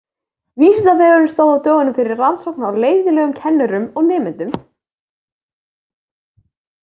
Vísindavefurinn stóð á dögunum fyrir rannsókn á leiðinlegum kennurum og nemendum.